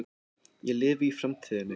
Ég lifi í framtíðinni.